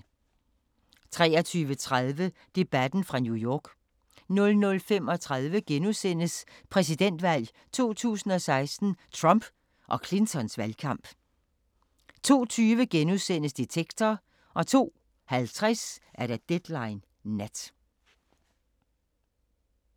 23:30: Debatten fra New York 00:35: Præsidentvalg 2016: Trump og Clintons valgkamp * 02:20: Detektor * 02:50: Deadline Nat